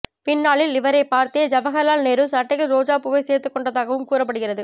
பின்னாளில் இவரைப் பார்த்தே ஜவஹர்லால் நேரு சட்டையில் ரோசாப்பூவைச் சேர்த்துக் கொண்டதாகவும் கூறப்படுகிறது